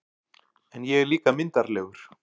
En ég er líka myndarlegur